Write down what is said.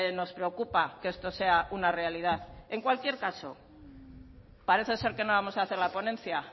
nos preocupa que esto sea una realidad en cualquier caso parece ser que no vamos a hacer la ponencia